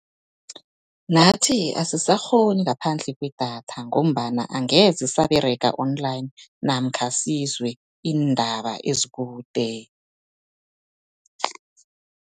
Nathi asisakghoni ngaphandle kwedatha, ngombana angeze saberega online namkha sizwe iindaba ezikude.